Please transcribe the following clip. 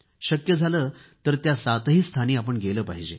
शक्य झालं तर त्या सातही स्थानी गेले पाहिजे